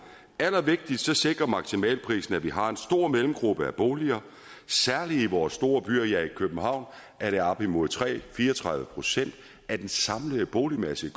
det allervigtigste sikrer maksimalprisen at vi har en stor mellemgruppe af boliger særlig i vores store byer ja i københavn er det op mod tre fire og tredive procent af den samlede boligmasse